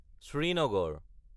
Srinagar